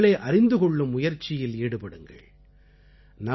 உங்களை நீங்கள் அறிந்து கொள்ளூம் முயற்சியில் ஈடுபடுங்கள்